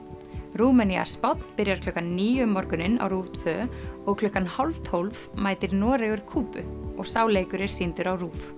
Rúmenía Spánn byrjar klukkan níu um morguninn á RÚV tvö og klukkan hálf tólf mætir Noregur Kúbu og sá leikur er sýndur á RÚV